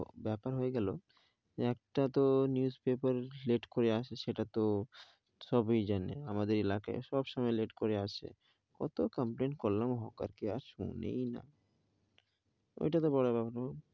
ব্যাপার হয়ে গেলো একটা তো newspaper late করে আসে, সেটা তো সবাই জানে আমাদের এলাকাই সবসময় late করে আসে. কত complain করলাম, কত করলাম, কেউ কি আর শোনে,